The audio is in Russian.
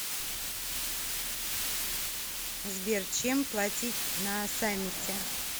сбер чем платить на самете